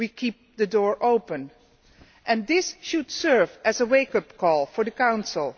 we are keeping the door open, and this should serve as a wake up call for the Council.